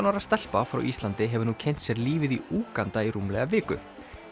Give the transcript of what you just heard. ára stelpa frá Íslandi hefur nú kynnt sér lífið í Úganda í rúmlega viku